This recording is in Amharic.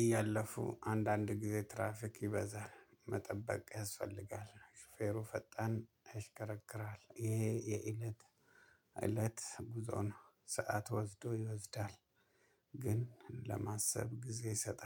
እያለፉ አንዳንድ ጊዜ ትራፊክ ይበዛል መጠበቅ ያስፈልጋል። ሹፌሩ ፈጣን ያሽከረክራል ይሄ የእለት እለት ጉዞ ነው። ሰዓት ወስዶ ይወስዳል። ግን ለማሰብ ጊዜ ሰጠ